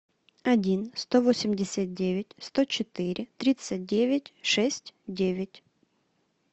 один сто восемьдесят девять сто четыре тридцать девять шесть девять